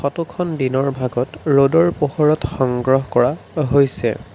ফটোখন দিনৰ ভাগত ৰ'দৰ পোহৰত সংগ্ৰহ কৰা হৈছে।